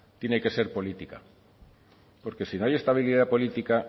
tiene que ser política porque si no hay estabilidad política